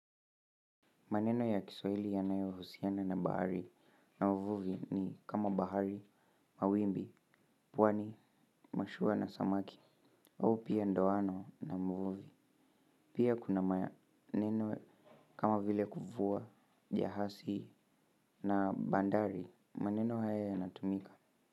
Maneno ya kiswahili yanayohusiana na bahari au mvuvi ni kama bahari, mawimbi, pwani, mashua na samaki. Au pia ndoano na mvuvi. Pia kuna maneno kama vile kuvua, jahasi na bandari maneno haya yanatumika.